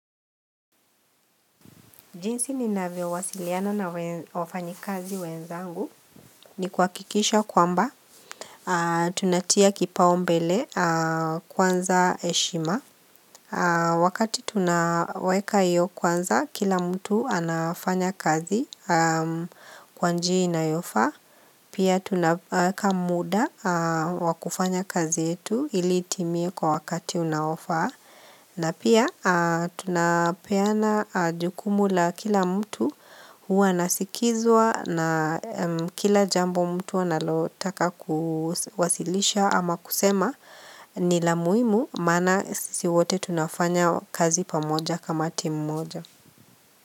Jinsi ninavyo wasiliana na wafanyi kazi wenzangu ni kuha kikisha kwamba Tunatia kipao mbele kwanza heshima Wakati tunaweka iyo kwanza kila mtu anafanya kazi kwanjia inayofaa Pia tunaweka muda wa kufanya kazi yetu ili itimie kwa wakati unaofaa na pia tunapeana jukumu la kila mtu huwa anasikizwa na kila jambo mtu analotaka kuwasilisha ama kusema ni la muimu maana sisi wote tunafanya kazi pamoja kama timu moja.